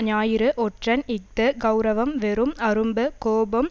ஞாயிறு ஒற்றன் இஃது கெளரவம் வெறும் அரும்பு கோபம்